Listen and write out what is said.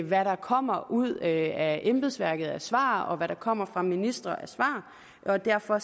hvad der kommer ud af embedsværket af svar og hvad der kommer fra ministre af svar og derfor